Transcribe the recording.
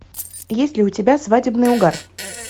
есть ли у тебя свадебный угар